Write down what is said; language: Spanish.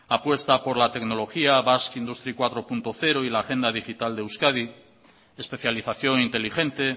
apuesta por la tecnología basque industry cuatro punto cero y la agenda digital de euskadi especialización inteligente